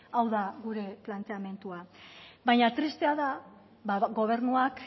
hau da gure planteamendua baina tristea da bada gobernuak